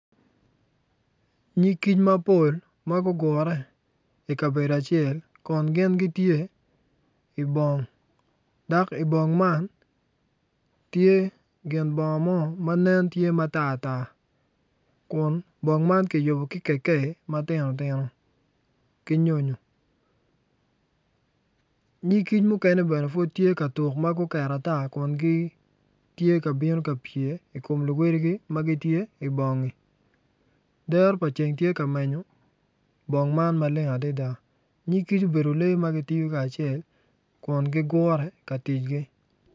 Nyig kic mapol ma gugure i kabedo acel kun gin gitye i bong kun i bong man tye gin bongo mo ma nen tatar kun bong man kiytubo ki kekeyi ma titino ki nyonyo nyig kic muken bene gitye ka tuk kun guket ata kun gitye ka bino ka pye i kom luwedigi ma tye i bongi dero pa ceng tye ka menyo bong man maleng adada. Nyig kic obedo lee ma gitiyo kacel kun gigure ka ticgi.